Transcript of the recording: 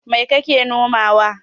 Mai kake nomawa?